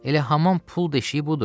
Elə hamam pul deşiyi budur.